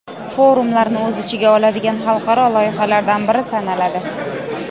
forumlarni o‘z ichiga oladigan xalqaro loyihalardan biri sanaladi.